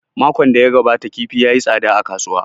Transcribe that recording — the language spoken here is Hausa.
Makon da ya gabata kifi ya yi tsada a kasuwa